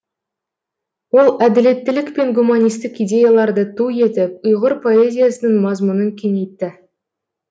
ол әділеттілік пен гуманистік идеяларды ту етіп ұйғыр поэзиясының мазмұнын кеңейтті